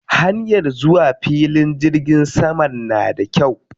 Hanyar zuwa filin jirgin saman na da kyau.